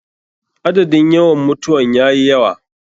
Adadin yawan mutawan yayi yawa.